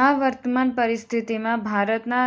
આ વર્તમાન પરિસ્થિતીમાં ભારતના